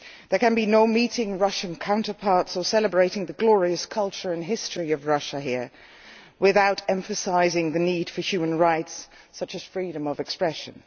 There can be no meeting Russian counterparts or celebrating the glorious culture and history of Russia here without emphasising the need for human rights, such as freedom of expression.